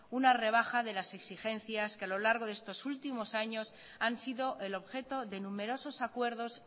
una rebaja de las exigencias que a lo largo de estos últimos años han sido el objeto de numerosos acuerdos